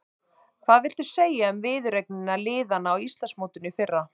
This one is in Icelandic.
Hvað viltu segja um viðureignir liðanna á Íslandsmótinu í fyrra?